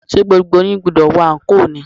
Ṣé gbogbo yín gbúdọ̀ wọ anko ni?